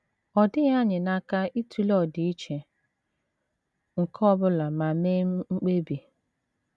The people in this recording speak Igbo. Ọ dịghị anyị n’aka ịtụle ọdịiche nke ọ bụla ma mee mkpebi.